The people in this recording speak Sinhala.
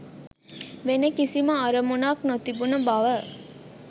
වෙන කිසිම අරමුණක් නොතිබුන බව